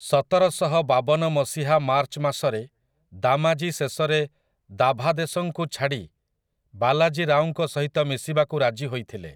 ସତରଶହବାବନ ମସିହା ମାର୍ଚ୍ଚ ମାସରେ ଦାମାଜୀ ଶେଷରେ ଦାଭାଦେସଙ୍କୁ ଛାଡ଼ି ବାଲାଜୀ ରାଓଙ୍କ ସହିତ ମିଶିବାକୁ ରାଜି ହୋଇଥିଲେ ।